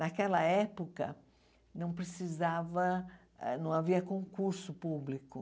Naquela época, não precisava, não havia concurso público.